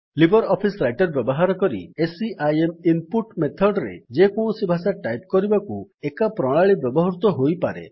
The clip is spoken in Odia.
ଲିବର୍ ଅଫିସ୍ ରାଇଟର୍ ବ୍ୟବହାର କରି ସିଆଇଏମ୍ ଇନ୍ ପୁଟ୍ ମେଥଡ୍ ରେ ଯେକୌଣସି ଭାଷା ଟାଇପ୍ କରିବାକୁ ଏକା ପ୍ରଣାଳୀ ବ୍ୟବହୃତ ହୋଇପାରେ